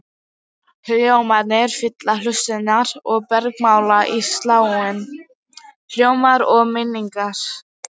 Hljómarnir fylla hlustirnar og bergmála í sálinni, hljómarnir og minningarnar.